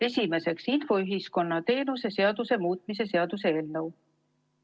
Esimeseks, infoühiskonna teenuse seaduse muutmise seaduse eelnõu.